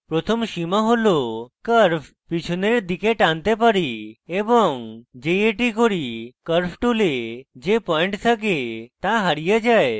প্রথম সীমা tool curve পিছনের দিকে টানতে পারি এবং যেই এটি করি curve pull যে পয়েন্ট থাকে তা হারিয়ে যায়